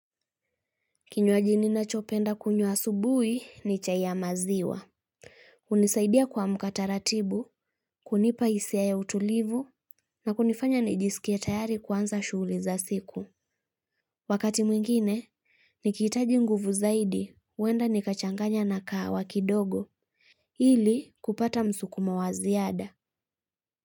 Kinywaji nina chopenda kunywa asubui ni chai ya maziwa. Hunisaidia kua mka taratibu, kunipa hisia ya utulivu, na kunifanya nijiskie tayari kuanza shughuli za siku. Wakati mwingine, nikihitaji nguvu zaidi, uenda nikachanganya na kahawa kidogo. Hili kupata msukumo waziada.